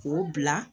K'o bila